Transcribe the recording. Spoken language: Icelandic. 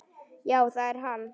Já, það er hann.